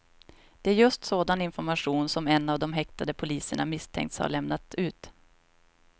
Det är just sådan information som en av de häktade poliserna misstänks ha lämnat ut.